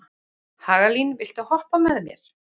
Hagalín, viltu hoppa með mér?